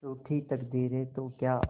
रूठी तकदीरें तो क्या